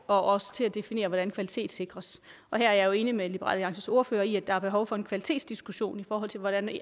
og også til at definere hvordan det kvalitetssikres her er jeg enig med liberal alliances ordfører i at der er behov for en kvalitetsdiskussion i forhold til hvordan det